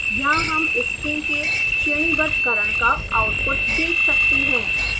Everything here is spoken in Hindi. यहाँ हम string के श्रेणीबद्धकरण का आउटपुट देख सकते हैं